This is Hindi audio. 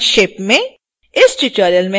संक्षेप में